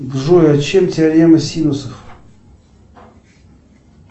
джой о чем теорема синусов